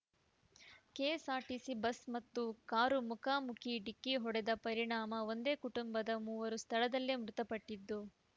KSRTC bus ಮತ್ತು car ಮುಖಾಮುಖಿ ಡಿಕ್ಕಿ ಹೊ‌ಡೆದ ಪರಿಣಾಮ ಒಂದೇ ಕುಟುಂಬದ ಮೂವರು ಸ್ಥಳದಲ್ಲೇ ಮೃತಪಟ್ಟಿದ್ದು